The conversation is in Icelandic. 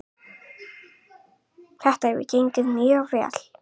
Þetta hefur gengið mjög vel.